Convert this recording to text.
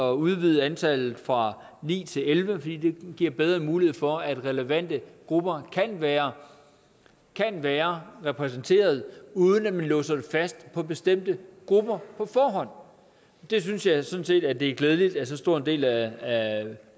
at udvide antallet fra ni til elleve fordi det giver bedre mulighed for at relevante grupper kan være være repræsenteret uden at man låser det fast på bestemte grupper på forhånd og det synes jeg sådan set det er glædeligt at så stor en del af